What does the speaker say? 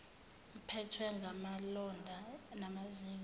uphethwe ngamalonda namazinyo